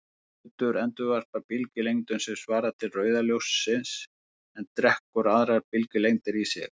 Rauður hlutur endurvarpar bylgjulengdum sem svara til rauða ljóssins en drekkur aðrar bylgjulengdir í sig.